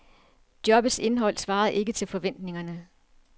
Jobbets indhold svarede ikke til forventningerne.